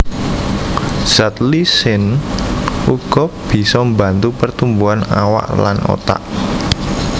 Zat lysine uga bisa mbantu pertumbuhan awak lan otak